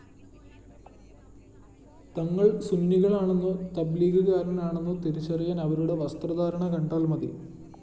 തങ്ങള്‍ സുന്നികളാണെന്നോ തബ്‌ലീഗുകാരനാണന്നോ തിരിച്ചറിയാന്‍ അവരുടെ വസ്ത്രധാരണ കണ്ടാല്‍ മതി